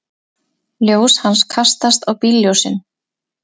Ljós hans kastast á bílljósin.